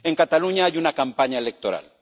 En Cataluña hay una campaña electoral.